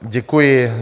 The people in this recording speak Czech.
Děkuji.